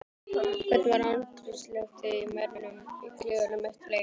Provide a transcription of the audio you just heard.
Hvernig var andrúmsloftið í mönnum í klefanum eftir leik?